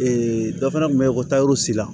dɔ fana kun bɛ yen ko tayɔrɔ sila